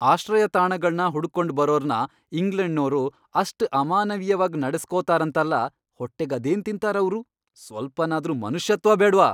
ಆಶ್ರಯತಾಣಗಳ್ನ ಹುಡುಕ್ಕೊಂಡ್ ಬರೋರ್ನ ಇಂಗ್ಲೆಂಡ್ನೋರು ಅಷ್ಟ್ ಅಮಾನವೀಯವಾಗ್ ನಡೆಸ್ಕೋತಾರಂತಲ, ಹೊಟ್ಟೆಗದೇನ್ ತಿಂತಾರ್ ಅವ್ರು! ಸ್ವಲ್ಪನಾದ್ರೂ ಮನುಷ್ಯತ್ವ ಬೇಡ್ವಾ!